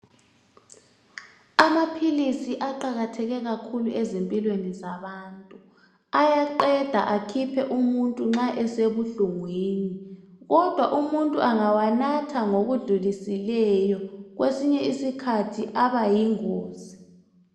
Amaphilisi aqakatheke kakhulu ezimpilweni zabantu. Ayaqeda akhiphe akhiphe umuntu nxa esebuhlungwini. Kodwa umuntu angawanatha ngokudlulisileyo kwesinye isikhathi aba yingozi.